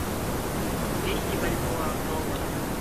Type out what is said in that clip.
двести бальбоа в долларах